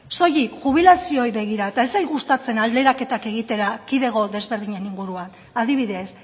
soilik jubilazioei begira eta ez zait gustatzen alderaketak egitea erkidego desberdinen inguruan adibidez